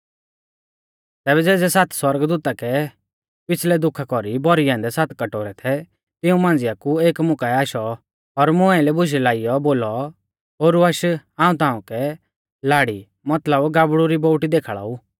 तैबै ज़ेज़ै सात सौरगदूता कै पिछ़लै दुखा कौरी भौरै औन्दै सात कटोरै थै तिऊं मांझ़िआ कु एक मुकाऐ आशौ और मुं आइलै बुशै लाइऔ बोलौ ओरु आश हाऊं ताउंकै लाड़ी मतलब गाबड़ु री बोउटी देखाल़ा ऊ